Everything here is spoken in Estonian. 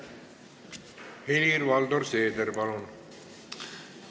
Helir-Valdor Seeder, palun!